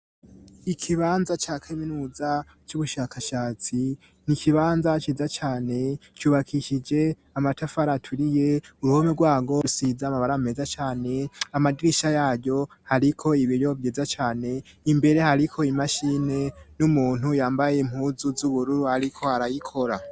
Ikibanza ca kaminuza c'ubushakashatsi ni ikibanza ciza cane cubakishije amatafari aturiye, uruhome rwarwo rusize amabara ameza cane. Amadirisha yaryo hariko ibiyo vyiza cane. Imbere hariko imashini n'umuntu yambaye impuzu z'ubururu ariko arayikora.